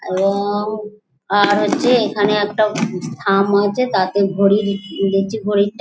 এবং আর হচ্ছে এখানে উববু একটা থাম আছে তাতে ঘড়ি দদ দেখছি ঘড়ি --